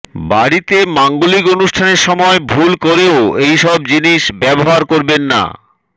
বাড়িতে মাঙ্গলিক অনুষ্ঠানের সময় ভুল করেও এই সব জিনিস ব্যবহার করবেন না